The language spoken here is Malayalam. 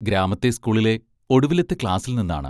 ഗ്രാമത്തിലെ സ്കൂളിലെ ഒടുവിലത്തെ ക്ലാസ്സിൽ നിന്നാണ്.